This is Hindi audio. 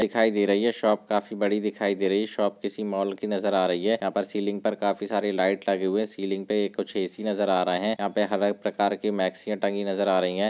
दिखाई दे रही है ये शॉप काफी बड़ी दिखाई दे रही है शॉप किसी मॉल की नज़र आ रही है यहा पर सीलिंग पर काफी सारे लाइट लगे हुए है सीलिंग पे कुछ ए_सी नज़र आ रहे है यहा पर हर प्रकार के मक्षीया टंगी नज़र आ रही है।